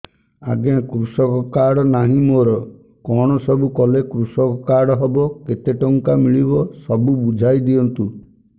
ଆଜ୍ଞା କୃଷକ କାର୍ଡ ନାହିଁ ମୋର କଣ ସବୁ କଲେ କୃଷକ କାର୍ଡ ହବ କେତେ ଟଙ୍କା ମିଳିବ ସବୁ ବୁଝାଇଦିଅନ୍ତୁ